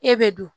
E bɛ don